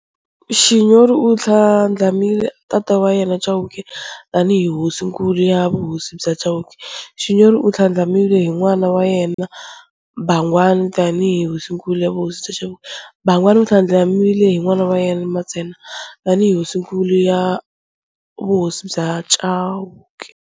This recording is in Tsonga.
Xinyori u tlhandlamile tata wa yena Chauke tani hi Hosinkulu ya vuhosi bya Chauke, Xinyori u tlhandlamiwe hi n'wana wa yena Bangwani tani hi Hosinkulu ya vuhosi bya Chauke, Bangwani u tlhandlamiwe hi n'wana wa yena Mantsena tani hi Hosinkulu ya vuhosi bya Chauke.